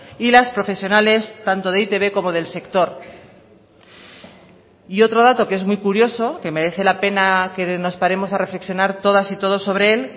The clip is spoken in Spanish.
y las profesionales tanto de e i te be como del sector y otro dato que es muy curioso que merece la pena que nos paremos a reflexionar todas y todos sobre él